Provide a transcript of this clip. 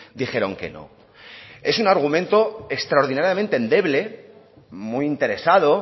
dijeron que no es un argumento extraordinariamente endeble muy interesado